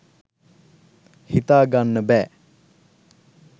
හිතා ගන්න බැ